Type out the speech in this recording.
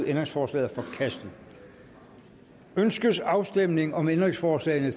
ændringsforslaget er forkastet ønskes afstemning om ændringsforslag